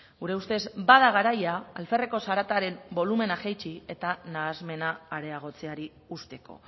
gure ustez bada garaia alferreko zarataren bolumen jaitsi eta nahasmena areagotzeari usteko